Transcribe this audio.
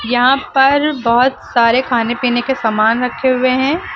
यहां पर बहुत सारे खाने पीने के समान रखे हुए हैं।